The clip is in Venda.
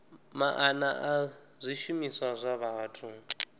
maana a zwishumiswa zwa vhathu